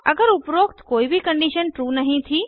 अगर उपरोक्त कोई भी कंडीशन ट्रू नहीं थी